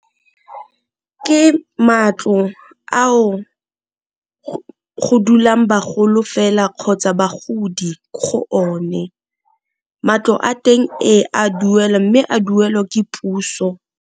Ke matlo ao go dulang bagolo fela kgotsa bagodi go o ne, matlo a teng a duelwa mme a duelwa ke puso.